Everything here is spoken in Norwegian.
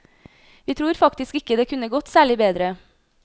Vi tror faktisk ikke det kunne gått særlig bedre.